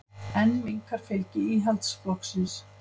Enn minnkar fylgi Íhaldsflokksins